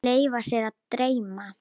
Leyfa sér að dreyma.